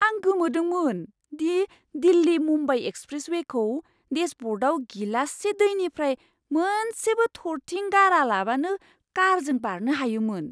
आं गोमोदोंमोन दि दिल्ली मुंबाई एक्सप्रेसवेखौ डेशब'र्डआव गिलाससे दैनिफ्राय मोनसेबो थरथिं गारालाबानो कारजों बारनो हायोमोन!